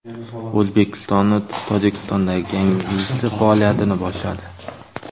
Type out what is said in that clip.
O‘zbekistonning Tojikistondagi yangi elchisi faoliyatini boshladi.